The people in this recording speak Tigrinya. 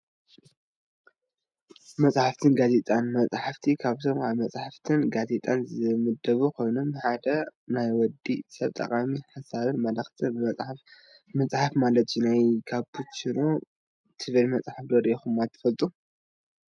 መፅሓፍትን ጋዜጣን፡- መፅሓፍ ካብቶም ኣብ መፅሓፍትን ጋዜጣን ዝምደቡ ኾይኑ፣ ንሓደ ናይ ወዲ ሰብ ጠቓሚ ሓሳብን መልእኽትን ብመፅሓፍ ምፅሓፍ ማለት እዩ፡፡ ናይ ካፒችኖ ትብል መፅሓፍ ዶ ሪኢኹምዋ ትፈልጡ?